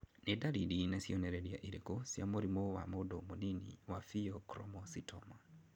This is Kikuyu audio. Nĩ dariri na cionereria irĩkũ cia mũrimũ wa mũndũ mũnini wa Pheochromocytoma?